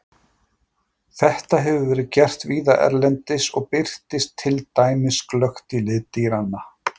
Þetta hefur verið gert víða erlendis og birtist til dæmis glöggt í lit dýranna.